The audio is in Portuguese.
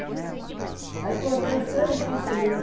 Aí cortei uns três anos de seringa.